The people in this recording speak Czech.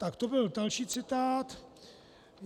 Tak to byl další citát.